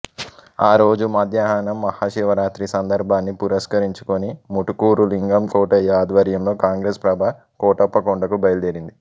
అదే రోజు మధ్యాహ్నం మహాశివరాత్రి సందర్భాన్ని పురస్కరించుకొని ముటుకూరు లింగం కోటయ్య అధ్వర్యంలో కాంగ్రెస్ ప్రభ కోటప్పకొండకు బయలుదేరింది